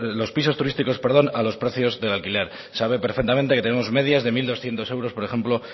los pisos turísticos a los precios del alquiler sabe perfectamente que tenemos medias de mil doscientos euros por ejemplo